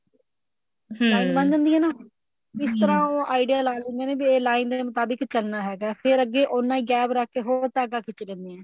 line ਬਣ ਜਾਂਦੀ ਐ ਨਾ ਇਸ ਤਰ੍ਹਾਂ ਉਹ idea ਲਾ ਲਿੰਦੇ ਨੇ ਵੀ ਇਹ line ਦੇ ਮੁਤਾਬਿਕ ਚਲਨਾ ਹੈਗਾ ਫੇਰ ਅੱਗੇ ਉਹਨਾਂ ਹੀ gap ਰੱਖ ਕੇ ਹੋਰ ਧਾਗਾ ਖਿੱਚ ਲੇਂਦੇ ਐ